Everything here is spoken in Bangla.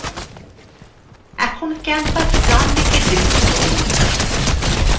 এখন campus ডান দিকে দীর্ঘতর করুন